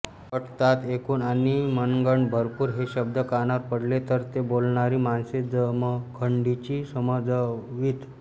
वट्टतात एकूण आणि मनगंड भरपूर हे शब्द कानावर पडले तर ते बोलणारी माणसे जमखंडीची समजावीत